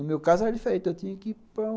No meu caso era diferente, eu tinha que ir para um...